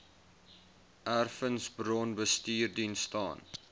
erfenisbron bestuursdiens staan